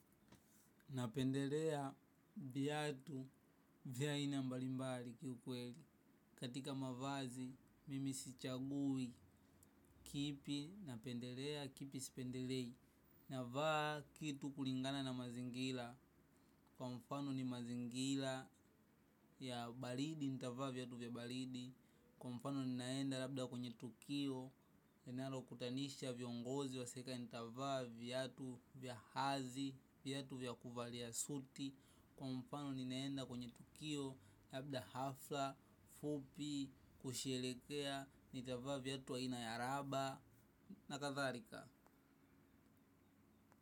Napendelea vyatu vya aina mbalimbali kiukweli. Katika mavazi mimi sichagui kipi napendelea na kipi sipendelei. Navaa kitu kulingana na mazingila. Kwa mfano ni mazingila ya balidi, nitavaa vyatu vya balidi. Kwa mfano ni naenda labda kwenye tukio. Kwa mfano ni naenda labda kwenye tukio. Nenaro kutanisha vyongozi wa seka ntavaa vyatu vya hazi, vyatu vyakuvaliya suti. Kwa mfano ninaenda kwenye tukio labda hafla Fupi Kushelekea. Nitavaa vyatu aina ya raba na katharika.